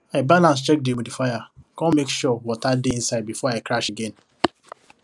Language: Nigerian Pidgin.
i balance check the humidifier con make sure water dey inside before i crash again